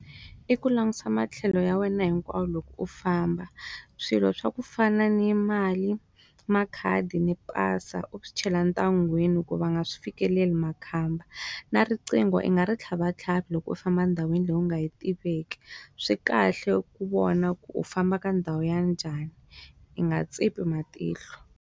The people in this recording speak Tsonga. I ku langusa matlhelo ya wena hinkwayo loko u famba swilo swa ku fana ni yi mali makhadi ni pasa u swi chela ntlangwini ko va nga swi fikeleli makhamba na riqingho i nga ri tlhava tlhavi loko u famba ndhawini leyi u nga yi tiveki swikahle ku vona ku u famba ka ndhawu ya njhani i nga tsipi matihlo.